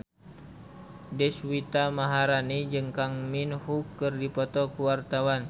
Deswita Maharani jeung Kang Min Hyuk keur dipoto ku wartawan